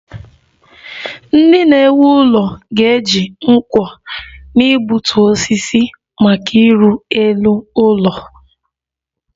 Ndị na-ewu ụlọ ga-eji nkwọ na-egbutu osisi maka ịrụ elu ụlọ